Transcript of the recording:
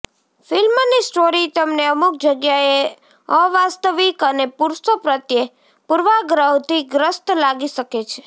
ફિલ્મની સ્ટોરી તમને અમુક જગ્યાએ અવાસ્તવિક અને પુરુષો પ્રત્યે પૂર્વાગ્રહથી ગ્રસ્ત લાગી શકે છે